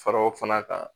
Faraw fana kan